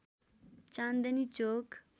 चाँदनी चोक